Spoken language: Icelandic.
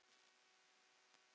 Þín dóttir, Ynja Sigrún Ísey.